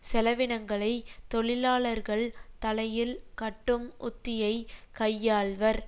செலவினங்களை தொழிலாளர்கள் தலையில் கட்டும் உத்தியை கையாள்வர்